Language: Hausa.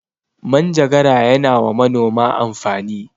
Manjagara ya na wa manoma amfani